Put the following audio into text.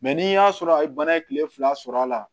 ni y'a sɔrɔ a ye bana ye kile fila sɔrɔ la